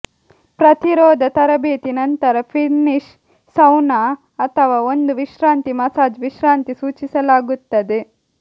ಪ್ರತಿರೋಧ ತರಬೇತಿ ನಂತರ ಫಿನ್ನಿಶ್ ಸೌನಾ ಅಥವಾ ಒಂದು ವಿಶ್ರಾಂತಿ ಮಸಾಜ್ ವಿಶ್ರಾಂತಿ ಸೂಚಿಸಲಾಗುತ್ತದೆ